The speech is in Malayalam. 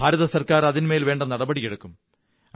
കേന്ദ്ര ഗവണ്മെ ന്റ് അതിന്മേൽ വേണ്ട നടപടികളെടുക്കും